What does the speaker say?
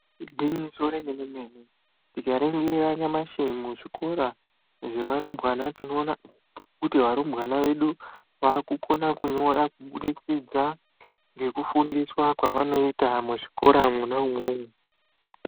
Ingwinyiso remenemene tingaringira nyamashi muzvikora zvevarumbwana tinoona kuti varumbwana vedu vakukona kunyora kubudikidza ngekufundiswa kwavanoita muzvikora mwoma umomo